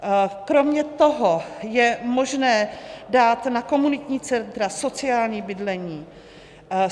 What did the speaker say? Kromě toho je možné dát na komunitní centra, sociální bydlení.